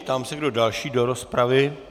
Ptám se, kdo další do rozpravy.